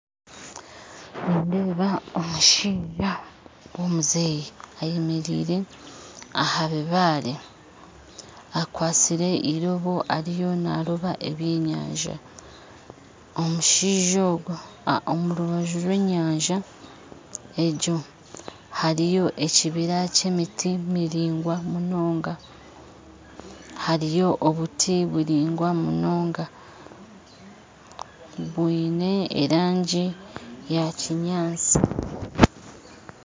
Nindeeba omushaija womuzeeyi ayemeraire ahabibare akwasire eirobo ariyo naaroba ebyenyanja omushaija ogu omu rubaju rw'enyaja hariyo ekibira kyemiti hariyo obuti buringwa munonga bwine erangi yakinyatsi